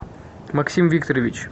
максим викторович